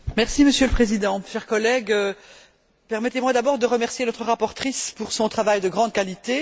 Monsieur le Président, chers collègues, permettez moi d'abord de remercier notre rapporteure pour son travail de grande qualité.